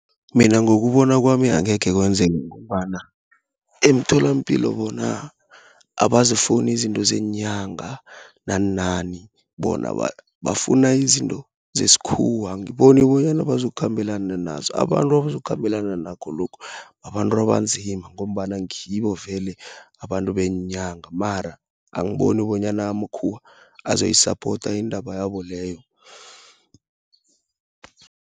Mina ngokubona kwami angekhe kwenzeka, ngombana emtholampilo bona, abazifuni izinto zeenyanga naninani, bona bafuna izinto zeskhuwa, angiboni bonyana bazokhambela nazo. Abantu abazokhabelana nakho lokhu, babantu abanzima, ngombana ngibo vele abantu beenyanga, mara angiboni bonyana amakhuwa azoyisapota iindaba yabo leyo.